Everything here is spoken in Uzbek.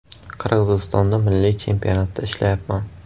Qirg‘izistonda milliy chempionatda ishlayapman.